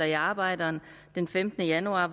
i arbejderen den femtende januar